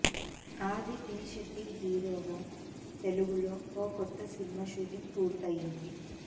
ఆది పినిశెట్టి హీరోగా తెలుగులో ఓ కొత్త సినిమా షూటింగ్ పూర్తయింది